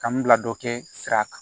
Kan bila dɔ kɛ sira kan